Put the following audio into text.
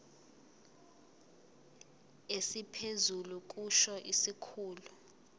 esiphezulu kusho isikhulu